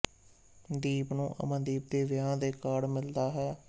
ਦੀਪ ਨੂੰ ਅਮਨਦੀਪ ਦੇ ਵਿਆਹ ਦੇ ਕਾਰਡ ਮਿਲਦਾ ਹੈ